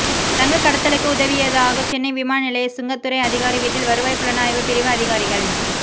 தங்க கடத்தலுக்கு உதவியதாக சென்னை விமான நிலைய சுங்கத்துறை அதிகாரி வீட்டில் வருவாய் புலனாய்வு பிரிவு அதிகாரிகள்